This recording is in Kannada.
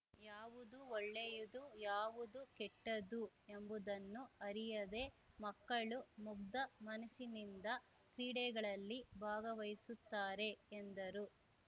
ಯಾವುದು ಒಳ್ಳೆಯದು ಯಾವುದು ಕೆಟ್ಟದ್ದು ಎಂಬುದನ್ನು ಅರಿಯದೇ ಮಕ್ಕಳು ಮುಗ್ಧ ಮನಸ್ಸಿನಿಂದ ಕ್ರೀಡೆಗಳಲ್ಲಿ ಭಾಗವಹಿಸುತ್ತಾರೆ ಎಂದರು